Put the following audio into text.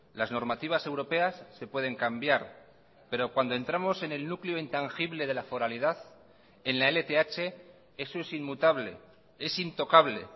las normativas europeas se pueden cambiar pero cuando entramos en el núcleo intangible de la foralidad en la lth eso es inmutable es intocable